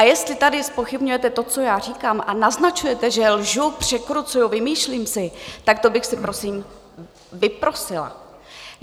A jestli tady zpochybňujete to, co já říkám, a naznačujete, že lžu, překrucuju, vymýšlím si, tak to bych si prosím vyprosila.